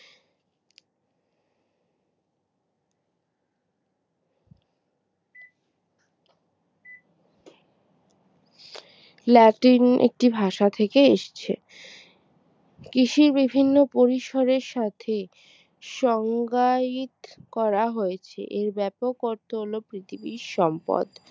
লার্টিন একটি ভাষা থেকে এসছে কৃষির বিভিন্ন পরিসরের সাথে সংজ্ঞায়িত করা হয়েছে। এই ব্যাপক অর্থ হলো পৃথিবীর সম্পদ